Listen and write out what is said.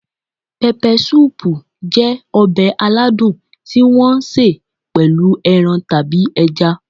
Peppersoup jẹ́ ọbẹ̀ aladùn tí wọ́n ṣe pẹ̀lú ẹran tàbí ẹja.